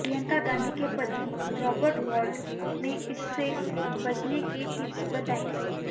प्रियंका गांधी के पति रॉबर्ट वाड्रा ने इससे बचने के टिप्स बताए